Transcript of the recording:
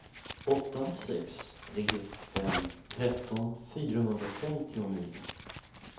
åtta sex tre fem tretton fyrahundrafemtionio